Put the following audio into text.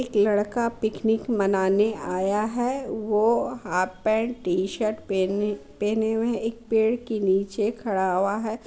लड़का पिकनिक मनाने आया है वो हाफ पेन्ट टी-शर्ट पहनी पहने हुए एक पेड़ के नीचे खड़ा हुवा है।